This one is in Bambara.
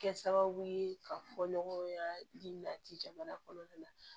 Kɛ sababu ye ka fɔ ɲɔgɔn ye ladi jamana kɔnɔna na